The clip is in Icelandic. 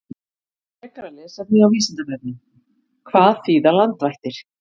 Frekara lesefni á Vísindavefnum: Hvað þýða landvættir?